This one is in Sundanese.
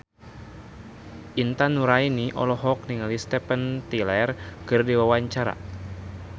Intan Nuraini olohok ningali Steven Tyler keur diwawancara